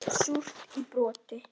Súrt í broti.